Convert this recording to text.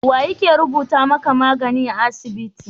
Wane yake rubuta magani a asibiti?